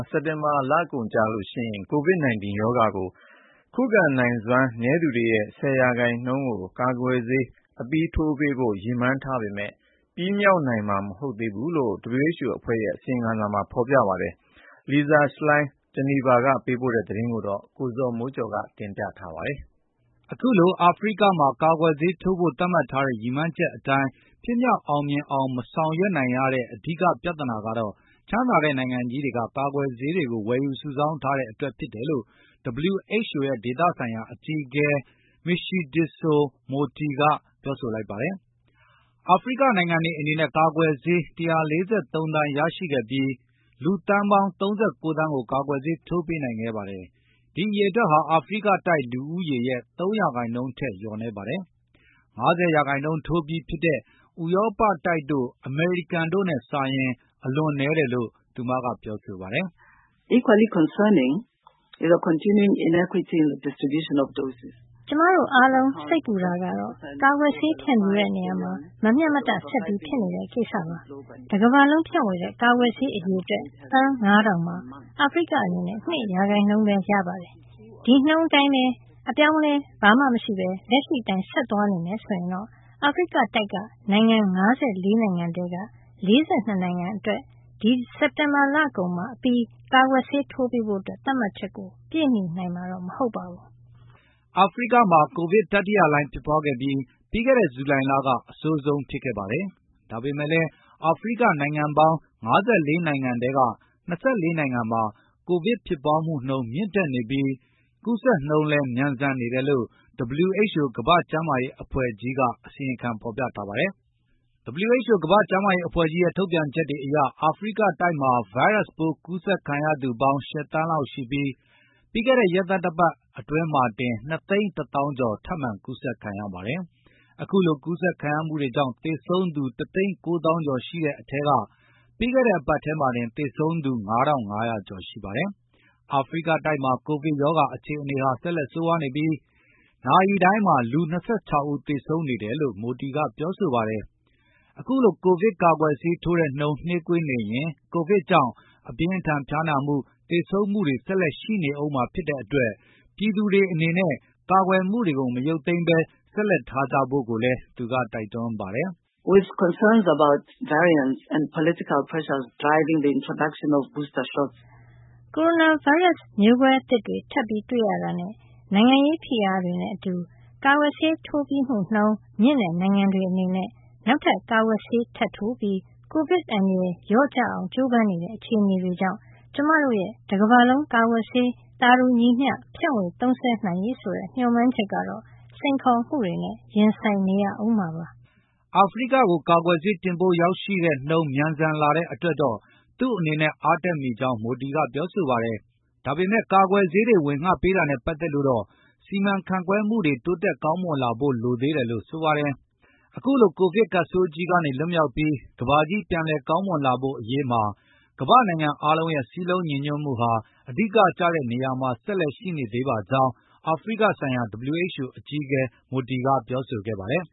စက်တင်ဘာလကုန်မှာ ကိုဗစ် 19 ရောဂါကို ခုခံနိုင်စွမ်းနည်းသူတွေရဲ့ ၁၀ ရာနှုန်းကို ကာကွယ်ဆေးအပြီးထိုးဖို့ ရည်မှန်းထားပေမယ့်လည်း ပြည့်မှီနိုင်မှာမဟုတ်ဘူးလို့ WHO ကမ္ဘာ့ကျမ်းမာရေးအဖွဲ့ကြီးက အစီရင်ခံထုတ်ပြန်ထားပါတယ်။ ဒီအကြောင်းအရာနဲ့ပတ်သက်ပြီး ဗွီအိုအေသတင်းထောက် လီဆာ ရှလိန်း က ဂျနီဗာကနေသတင်းပေးပို့ထားတာကို ကိုဇော်မိုးကျော်--ကတင်ပြပေးပါမယ် အခုလို အာဖရိကမှာ ကာကွယ်ဆေးထိုးဖို သတ်မှတ်ထားတဲ့ ကမ္ဘာလုံးဆိုင်ရာရည်မှန်းအချက်အတိုင်း ဖြစ်မြောက်အောင်မဆောင်ရွက် နိုင်ငံရတဲ့အဓိက ပြဿနာကတော့ ချမ်းသာတဲ့နိုင်ငံကြီးတွေက ကာကွယ်ဆေးတွေကို ဝယ်ယူစုဆောင်းထားတဲ့အတွက်ဖြစ်တယ်လို့ WHO ရဲ့ ဒေသဆိုင်ရာအကြီးအကဲ မရှီဒစ်ဆို မိုတီက Matshidiso Moeti ပြောဆိုလိုက်ပါတယ်။ အာဖရိက နိုင်ငံတွေအနေနဲ့ ကာကွယ်ဆေး ၁၄၃ သန်းရရှိခဲ့ပြီး လူသန်းပေါင်း ၃၉ သန်းကို ကာကွယ်ဆေးထိုးပေးနိုင်ခဲ့ပါတယ်၊ ဒီအရေအတွက်ဟာ အာဖရိကတိုက်လူဦးရေရဲ့ ၃ ရာနှုန်းထက်လျော့နည်းကြောင်း။ ၅၀ ရာနှုန်းထိုးထားပြီးဖြစ်တဲ့ ဥရောပတိုက်တို့ အမေရိကန်တို့နဲ့စာလိုက်ရင် အလွန်နည်းတယ်လို့ သူမက ပြောဆိုပါတယ်။ "ကျမတို့အားလုံး စိတ်ပူတာကတော့ ကာကွယ်ဆေး ဖြန့်ဖြူးတဲ့နေရာမှာ မမျှမတဆက်ဖြစ်နေတဲ့ကိစ္စပါ၊ တကမ္ဘာလုံးဖြန့်ဝေတဲ့ ကာကွယ်ဆေးအရေအတွက် သန်း ၅ ထောင်မှာအာဖရိကအနေနဲ့ ၂ ရာခိုင်ဘဲရပါတယ်။ ဒီ ရာနှုန်းအတိုင်း အပြောင်းအလဲမရှိဘဲ လက်ရှိအတိုင်းဆက်သွားမယ်ဆိုရင်တော့ အာဖရိကတိုက်က နိုင်ငံ ၅၄ နိုင်ငံထဲက ၄၂ နှစ်နိုင်ငံကို ဒီစက်တင်ဘာလကုန် အပြီး ကာကွယ်ဆေးထိုးပေးဖို့ သတ်မှတ်ချက်ကို ပြည့်မှီနိုင်မှာမဟုတ်ပါဘူး" အာဖရိကမှာ ကိုဗစ်တတိယလှိုင်းဖြစ်ပွားခဲ့ပြီး၊ ပြီးခဲ့တဲ့ ဇူလိုင်လ က အဆိုးဆုံးဖြစ်ခဲ့ပါတယ်။ ဒါပေမယ့်လည်း အာဖရိကနိုင်ငံပေါင်း ၅၄ နိုင်ငံထဲက ၂၄ နိုင်ငံမှာ ကိုဗစ်ဖြစ်ပွားမှုမြင့်တက်နေပြီး ကူးဆက်နှုန်းလည်း မြန်ဆန်နေတယ်လို့ WHO ကမ္ဘာ့ကျမ်းမာရေးအဖွဲ့ကြီးက အစီရင်ခံဖေါ်ပြထားပါတယ်။ WHO ကမ္ဘာ့ကျမ်းရေးအဖွဲ့ကြီးရဲ့ ထုတ်ပြန်ချက်တွေအရ အာဖရိကတိုက်မှာ ဗိုင်းရပ်စ်ပိုးကူးဆက်ခံရသူပေါင်း ၈ သန်းလောက်ရှိပြီး၊ ပြီးခဲ့တဲ့ ရက်သတ္တပတ်အတွင်းမှာတင် ကူးဆက်သူ ၂ သိန်း ၁ သောင်း ကျော်ထပ်မံကူးဆက်ခံရပါတယ်။ အခုလိုကူးဆက်မှုတွေကြောင့် သေဆုံးသူ ၁ သိန်း ၉ သောင်းကျော်ရှိတဲ့အထဲက ပြီးခဲ့တဲ့အပတ်ထဲမှာတင် သေဆုံးသူ ၅၅၀၀ ကျော်ရှိပါတယ်။ အာဖရိကတိုက်မှာ ကိုဗစ်ရောဂါအခြေအနေဟာ ဆက်လက်ဆိုးရွားနေပြီး၊ နာရီတိုင်းမှာ လူ ၂၆ ဦးဆေသုံးနေတယ်လို့ မိုတီ ကပြောဆိုပါတယ်။ ကိုဗစ်ကာကွယ်ဆေးထိုးတဲ့နှုန်းနှေးကွေးနေရင် ကိုဗစ်ကြောင့်အပြင်းအထန်ဖျားနာမှု သေဆုံးမှုတွေဆက်လက်ရှိနေဦးမှာဖြစ်တဲ့အတွက် ပြည်သူတွေအနေနဲ့ ကာကွယ်မှုတွေကို မရုတ်သိမ်းဘဲဆက်လက်ထားကြဖို့ကိုလည်းသူကတိုက်တွန်းပါတယ်။ ကိုဗစ်ဗိုင်းရပ် မျိုးကွဲများသစ်တွေထပ်တွေ့ရတာနဲ၊ နိုင်ငံရေးဖိအားတွေနဲ့အတူ၊ ကာကွယ်ဆေးထိုးပြီးမှုနှုန်းမြင့်တဲ့နိုင်ငံတွေအနေနဲ့ နောက်ထပ်ကာကွယ်ဆေးထပ်ထိုးပြီး ကိုဗစ်အန္တရယ်လျော့ကျလာအောင်ကျိုးပမ်းမှု စတဲ့အခြေအနေတွေကြောင့် ကျမတို့ရဲ့ တကမ္ဘာလုံးကာကွယ်ဆေး သာတူညီမျှ ဖြန့်ဝေသုံးစွဲနိုင်ရေးဆိုတဲ့ မျှော်မှန်းချက်ကတော့ စိန်ခေါ်မှုတွေနဲ့ ရင်ဆိုင်နေရာဦးမှာပါ။ အာဖရိကကို ကာကွယ်ဆေး တင်ပို့ရောက်ရှိနှုန်းမြန်ဆန်လာတဲ့အတွက်တော့ သူ့အနေနဲ့အားတက်မိကြောင်း မိုတီက ပြောဆိုပါတယ်။ ဒါပေမယ့် ကာကွယ်ဆေးတွေ ဝေငှပေးတာနဲ့ပတ်သက်လို့တော့ စီမံခန့်ခွဲမှုတွေ တိုးတက်ကောင်းမွန်လာဖို့ လိုသေးတယ်လို့ ဆိုပါတယ်။ အခုလို ကိုဗစ်ကပ်ဆိုးကြီးကနေ လွတ်မြောက်ပြီး ကမ္ဘာကြီးပြန်လည်ကောင်းမွန်လာဖို့ အရေးမှာ ကမ္ဘာ့နိုင်ငံအားလုံးရဲ့စည်းလုံးညီညွတ်မှုဟာ အဓိကကျတဲ့နေရာမှာဆက်လက်ရှိနေသေးပါကြောင်း အာဖရိကဆိုင်ရာ WHO အကြီးအကဲ မိုတီက ပြောဆိုခဲ့ပါတယ်